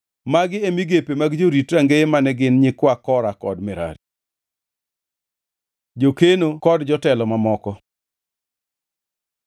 Magi e migepe mag jorit rangeye mane gin nyikwa Kora kod Merari. Jokeno kod jotelo mamoko